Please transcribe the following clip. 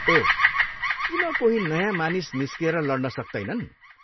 ओह, किन कोही नयाँ मानिस निस्किएर लड्न सक्तैनन्?